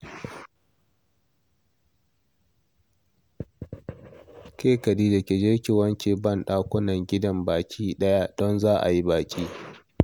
Ke Khadija ki je ki wanke banɗakunan gidan gabaɗaya, don za a yi baƙi